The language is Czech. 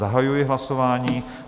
Zahajuji hlasování.